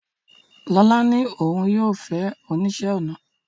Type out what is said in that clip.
Lola ní òun yóò fẹ́ oníṣẹ́-ọnà